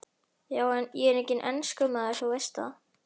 Já en. ég er enginn enskumaður, þú veist það.